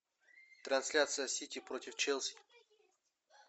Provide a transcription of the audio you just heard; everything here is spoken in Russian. трансляция сити против челси